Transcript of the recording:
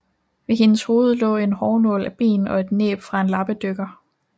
Ved hendes hoved lå en hårnål af ben og et næb fra en lappedykker